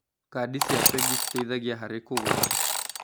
Kandi cia bengi citeithagia harĩ kũgũra.